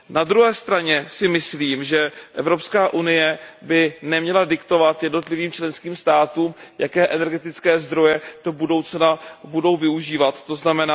Na druhé straně si myslím, že EU by neměla diktovat jednotlivým členským státům, jaké energetické zdroje do budoucna budou využívat, tzn.